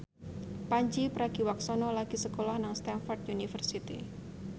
Pandji Pragiwaksono lagi sekolah nang Stamford University